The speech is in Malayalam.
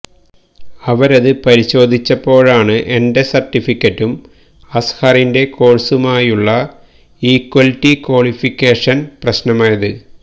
അവരത് പരിശോധിച്ചപ്പോഴാണ് എന്റെ സര്ട്ടിഫിക്കറ്റും അസ്ഹറിന്റെ കോഴ്സുമായുള്ള ഈക്വല്റ്റി ക്വാളിഫിക്കേഷന് പ്രശ്നമായത്